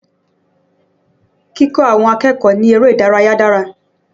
Kíkọ́ àwọn akẹ́kọ̀ọ́ ní eré ìdárayà dára